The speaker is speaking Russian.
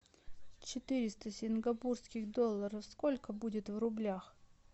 четыреста сингапурских долларов сколько будет в рублях